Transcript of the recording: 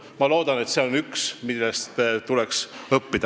" Ma loodan, et see on üks, millest tuleks õppida.